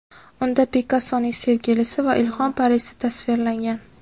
Unda Pikassoning sevgilisi va ilhom parisi tasvirlangan.